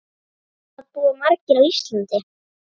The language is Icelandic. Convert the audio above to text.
Hvað búa margir á Íslandi?